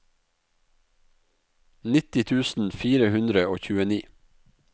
nitti tusen fire hundre og tjueni